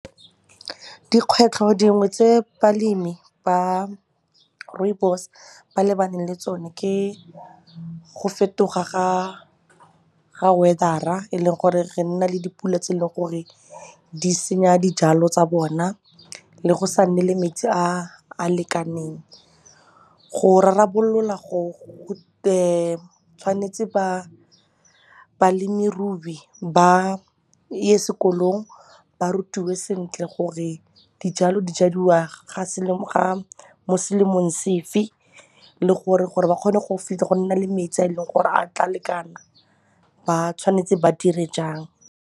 Dikgwetlho dingwe tse balemi ba rooibos ba lebaneng le tsone ke go fetoga ga weather-a e leng gore re nna le dipula tse e leng gore di senya dijalo tsa bona le go sa nne le metsi a lekaneng. Go rarabolola go tshwanetse balemirui ba ye sekolong ba rutiwe sentle gore dijalo di jadiwa mo selemong sefe le gore, gore ba kgone go nna le metsi a e leng gore a tla lekana ba tshwanetse ba dire jang.